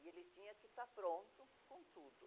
E ele tinha que estar pronto com tudo.